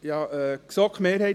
Kommissionspräsident der GSoK.